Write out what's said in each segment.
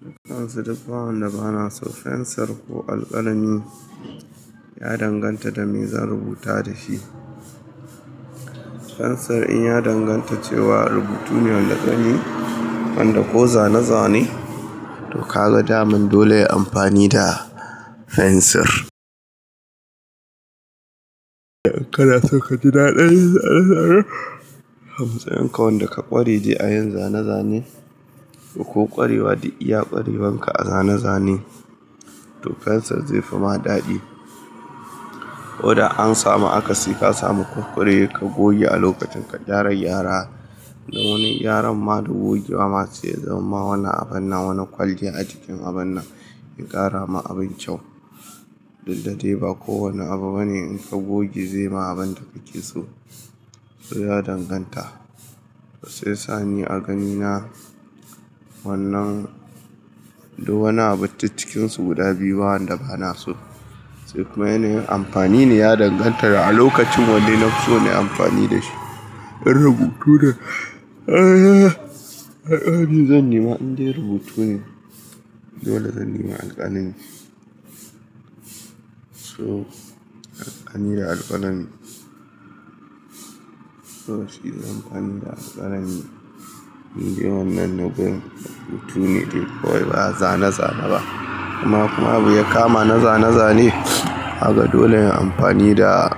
Dukkan su duk wanda ba na so fensir ko alkalami ya danganta da me zan rubuta da shi. Fensir in ya danganta cewa rubutu ne na gani wanda ko zane-zane to ka ga daman dole ya yi amfani da fensir. In kana so ka ji daɗin zane-zane a matsayin ka wanda ka kware de a yin zane-zane ko ƙwarewa dai iya ƙwarewan ka a zane-zane to fensir ze fi ma daɗi. Koda an samu akasi ka samu kunkure ka goge a lokacin ka kara gyara. Dan wani gyaran ma da goge wa ma se ya zamamma wani abun nan wani kwalliya a cikin abun nan ya ƙara ma abin kyau. Dukda dai ba kowanne abu bane in ka goge zaima abin da kake so to ya danganta. Shiyasa ni a gani na wannan duk wani abu duk cikin su guda biyu ba wanda bana so. Sai kuma yana yin amfani ne ya danganta da a lokacin wanne nafi so nayi amfani da shi. In rubutu ne zan nema in de rubutu ne dole zan nema alkalami. So alkalami da alkalami to shi zanyi amfani da alkalami. In de wannan na bin rubutu ne dai kawai ba zane-zane ba. Amma kuma abin ya kama na zane-zane kaga dole in yi amfani da,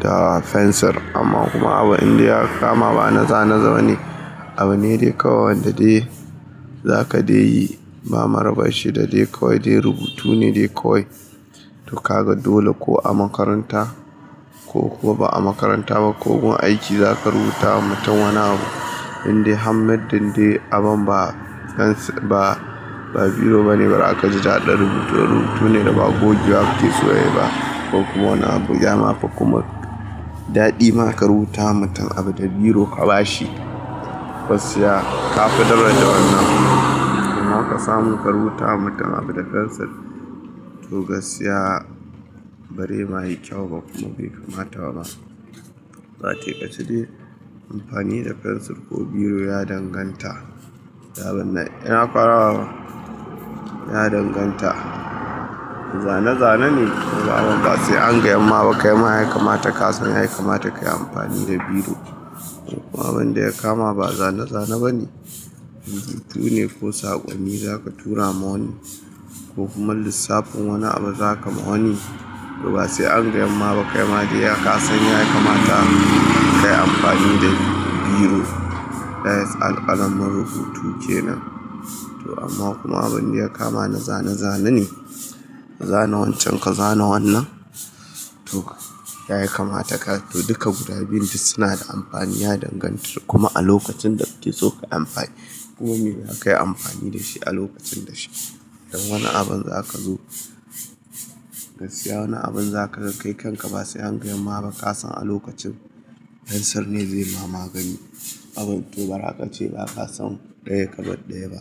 da fensir. Amma kuma abu in dai ya kama ba na zane-zane ne, abu ne dai kawai wanda dai za ka dai yi ba marabar shi da dai kawai dai rubutu ne dai kawai. To ka ga dole ko a makaranta ko kuwa ba a makaranta ba ko gun aiki za ka rubuta wa mutum wani abu indai har muddin dai abun ba fens ba, ba biro bane bara ka ji daɗin rubutu ba. Rubutu ne da ba goge ba ake so ya yi ba ko kuwa wani abu ya mafi kuma daɗi ma ka rubuta wa mutum abu da biro ka ba shi. Ka fi daraja wannan kuma. Kuma ka samu ka rubuta wa mutum abu da fensir to gaskiya bare ma yi kyau ba kuma bai kamata ba ma. A taikace dai amfani da fensir ko biro ya danganta. Yawan na, ina ƙwarawa ba? Ya danganta, zane zane ne kaima basai an gayanma ba kaima kasan ya kamata kayi amfani ne da biro kuma abin da ya kama ba zane-zane bane. Rubutu ne ko saƙonni za ka tura ma wani ko kuma lissafin wani abu za ka ma wani to ba sai an gayamma ba kai ma dai ya kasan ya kamata ka yi amfani da biro. Na yatsa alkalamin rubutu kenan to amma kuma abin da ya kama na zane-zane ne. Zana wancan ka zana wannan to ya kamata ka. To duka guda biyun dai suna da amfani ya danganta da kuma a lokacin da kake so ka yi amfani. Kuma me zaka yi amfani da shi a lokacin da shi. In wani abun za ka zo gaskiya wani abun za kaga kai kanka ba sai angayamma ba kasan a lokacin fensir ne ze ma magani. Abun to bari ka ce ba ka san ɗaya ka bar ɗaya ba.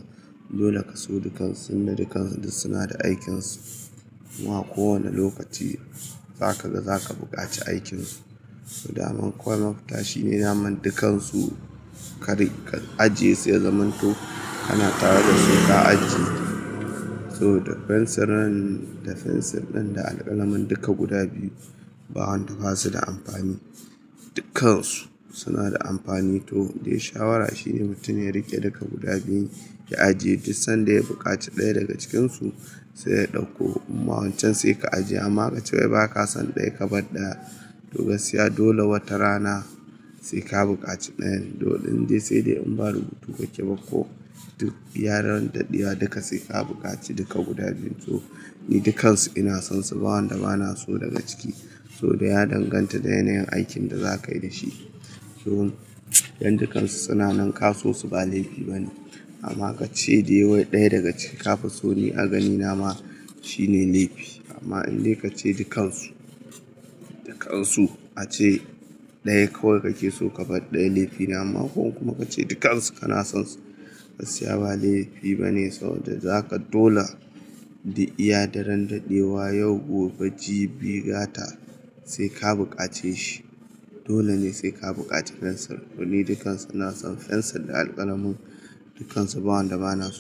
Dole kaso dukan su tunda dukkan su duk suna da aikin su kuma a ko wani lokaci za kaga zaka bukaci aikin su. To daman kawai mafita shine daman dukansu kadai ka ajiye su yazaman to kana tare da su ka ajiye. To da fensir nan da fensir din da alkalamin duka guda biyu bawanda basu da amfani. Dukansu suna da amfani to dai shawara shine mutum ya riƙe dukka guda biyun ya ajiye, duk sanda ya bukaci ɗaya daga cikinsu sai ya ɗauko. Amma wancan sai ka ajiye amma ka ce wai ba ka san ɗaya ka bar ɗaya. To gaskiya dole wata rana sai ka bukaci ɗayan. To in dai sai dai in ba rubutu kake ba ko duk iya ran daɗewa duka sai ka bukaci duka guda biyu to ni dukansu ina son su bawanda ba na so daga ciki. To dai ya danganta da yanayin aikin da za ka yi da shi. To in dukansu suna nan ka so su ba laifi bane. Amma ka ce dai wai ɗaya daga ciki ka fi so ni a ganina ma shine laifi. Amma in dai ka ce dukansu, dukansu ace ɗaya kawai kake so ka bar ɗaya laifi na. Amma ko kuma ka ce dukansu kana son su gaskiya ba laifi bane saboda za ka dole dukb iya daren daɗewa yau gobe jibi gata sai ka bukace shi. Dole ne sai ka bukace fensir. To ni dukansu ina son fensir da alkalamin dukansu bawanda ba na so.